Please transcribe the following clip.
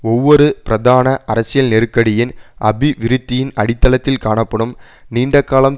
ஒவ்வொரு பிரதான அரசியல் நெருக்கடியின் அபிவிருத்தியின் அடித்தளத்தில் காணப்படும் நீண்டகாலம்